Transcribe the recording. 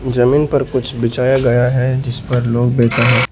जमींन पर कुछ बिछाया गया है जिस पर लोग बै--